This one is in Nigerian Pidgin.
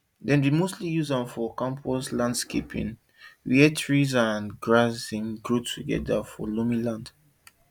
dem dey mostly use am for campus landscaping where trees and grass dem dey grow together for loamy land